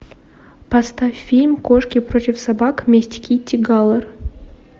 поставь фильм кошки против собак месть китти галор